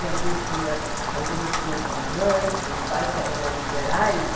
Tinha algumas que iam algumas que iam com as mães, com os pais, que eram mais liberais.